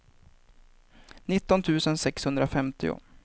nitton tusen sexhundrafemtio